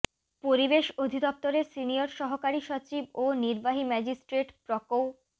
পরিবেশ অধিদপ্তরের সিনিয়র সহকারী সচিব ও নির্বাহী ম্যাজিস্ট্রেট প্রকৌ